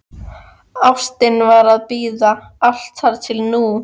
Ástin varð að bíða, allt þar til nú.